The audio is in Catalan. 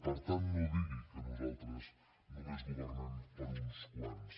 per tant no digui que nosaltres només governem per a uns quants